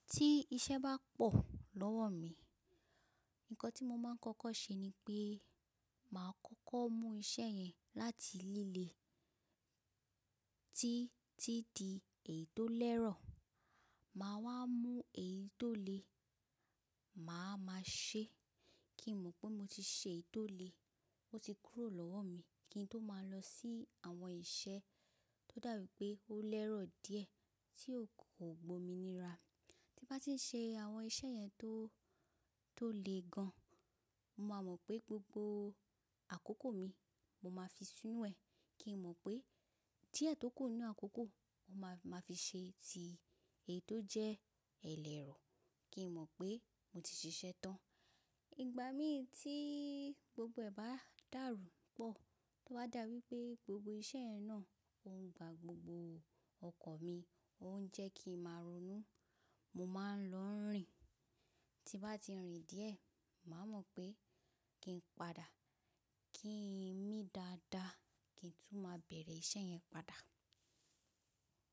Tí iṣẹ́ bá pọ̀ lọ́wọ́ mi, nǹkan tí mo máa ń kọ́kọ́ ṣe ni pé màá kọ́kọ́ mú iṣẹ́ yẹn láti líle tí tí di èyí tó lẹ́rọ̀, màá wá mú èyí tó le màá máa ṣe kí n mọ̀ pé mo ti ṣe èyí tó le, ó ti kúrò lọ́wọ́ mi kí n tó máa lọ sí àwọn iṣẹ́ tó dàbí pé ó lẹ́rọ̀ díẹ̀ tí ò kò gbó mi níra. Tí bá ti ń ṣe àwọn iṣẹ́ yẹn tó, tó le gan, mo máa mọ̀ pé gbogbo àkókò mi mo máa fi sínú ẹ̀, kí n mọ̀ pé díẹ̀ tókù nínú àkókò mo máa fi ṣe ti èyí tó jẹ́ ẹlẹ́rọ kí n mọ̀ pé mo ti ṣiṣẹ́ tán. Ìgbà mí tí gbogbo ẹ̀ bá dàrú pọ̀, tó bá dà wípé gbogbo iṣẹ́ yẹn náà ó ń gba gbogbo ọkàn mi, ó ń jẹ́ kí n máa ronú, mo máa ń lọ rìn. Tí n bá ti rìn díẹ̀, màá mọ̀ pé kí n padà, kí n mí dáadáa kí n tún máa bẹ̀rẹ̀ iṣẹ́ yẹn padà.